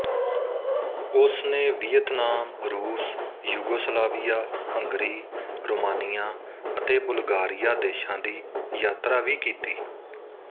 ਉਸ ਨੇ ਵੀਅਤਨਾਮ ਰੂਸ ਯੂਗੋਸਲਾਵੀਆ ਹੰਗਰੀ ਰੋਮਾਨੀਆ ਅਤੇ ਬੁਲਗਾਰੀਆ ਦੇਸ਼ਾਂ ਦੀ ਯਾਤਰਾ ਵੀ ਕੀਤੀ